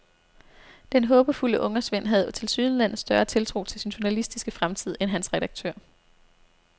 Den håbefulde ungersvend havde tilsyneladende større tiltro til sin journalistiske fremtid end hans redaktør.